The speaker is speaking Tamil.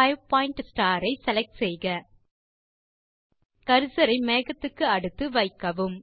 5 பாயிண்ட் ஸ்டார் ஐ செலக்ட் செய்க கர்சர் ஐ மேகத்துக்கு அடுத்து வைக்கவும்